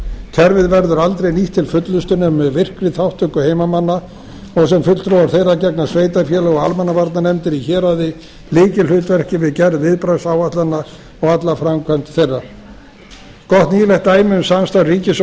kerfið verður aldrei nýtt til fullnustu nema með virkri þátttöku heimamanna og sem fulltrúa þeirra gegna sveitarfélög og almannavarnanefndir í héraði lykilhlutverki við gerð viðbragðsáætlana og alla framkvæmd þeirra gott nýlegt dæmi um samstarf ríkis og